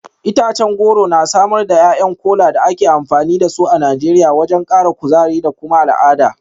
Itacen goro na samar da ’ya’yan Kola da ake amfani da su a Najeriya wajen kara kuzari da kuma al’adu.